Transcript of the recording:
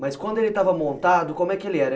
Mas quando ele estava montado, como é que ele era?